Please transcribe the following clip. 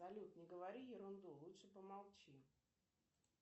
салют не говори ерунду лучше помолчи